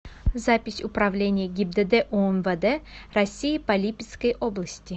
запись управление гибдд умвд россии по липецкой области